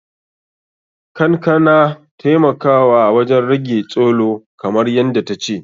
Kankan na taimakawa wajen rage tsholo, kamar yadda ta ce.